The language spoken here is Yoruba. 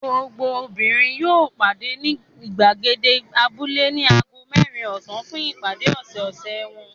Gbogbo obìnrin yóò pàdé ní ìgbàgede abúlé ní ago mẹ́rin ọ̀sán fún ìpàdé ọ̀sẹ̀ẹ̀sẹ̀ wọn.